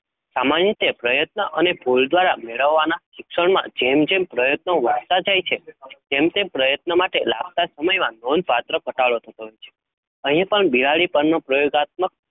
સામાન્ય રીતે, પ્રયત્ન અને ફૂલદ્વરા મેળવવાના સિક્ષનો માં જેમ જેમ પ્રયત્નો વધતા જાય છે તેમ તેમ, પ્રયત્ન, માટે લાગતા સમય માં લોન પ્રાપ્ત, ઘટાડો થયો થાય છે? અહીંયા પણ બેહાડીનો પનન પ્ર્યોગઆત્મક